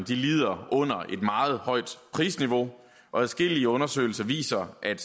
lider under et meget højt prisniveau og adskillige undersøgelser viser at